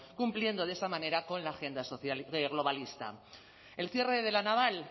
cumpliendo de esa manera con la agenda social globalista el cierre de la naval